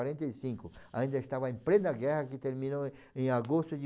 quarenta e cinco. Ainda estava em plena guerra, que terminou em agosto de